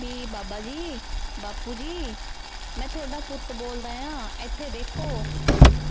B ਬਾਬਾ ਜੀ, ਬਾਪੁ ਜੀ ਮੈਂ ਥੋਡਾ ਪੁੱਤ ਬੋਲਦਾ ਆ ਇੱਥੇ ਦੇਖੋ।